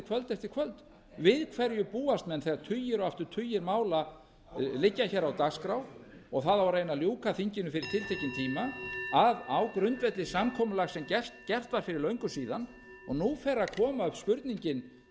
kvöld eftir kvöld við hverju búast menn þegar tugir og aftur tugir mála liggja á dagskrá og það á að reyna að ljúka þinginu fyrir tiltekinn tíma á grundvelli samkomulags sem gert var fyrir löngu síðan og nú fer að koma upp spurningin